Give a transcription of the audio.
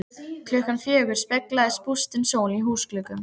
Klukkan fjögur speglast bústin sól í húsgluggum.